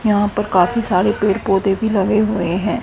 यहां पर काफी सारे पेड़ पौधे भी लगे हुए हैं।